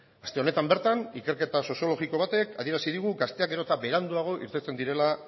aste honetan bertan ikerketa soziologiko batek adierazi digu gazteak gero eta beranduago irteten direla